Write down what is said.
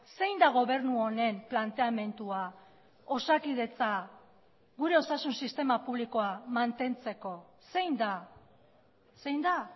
zein da gobernu honen planteamendua osakidetza gure osasun sistema publikoa mantentzeko zein da zein da